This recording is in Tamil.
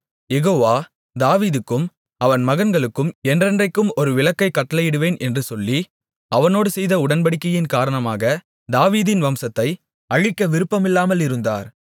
யெகோவா தாவீதுக்கும் அவன் மகன்களுக்கும் என்றென்றைக்கும் ஒரு விளக்கைக் கட்டளையிடுவேன் என்று சொல்லி அவனோடு செய்த உடன்படிக்கையின் காரணமாக தாவீதின் வம்சத்தை அழிக்க விருப்பமில்லாமல் இருந்தார்